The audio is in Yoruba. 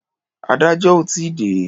Adájọ́ ò tí ì dé.